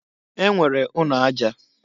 E nwere ụnọ aja.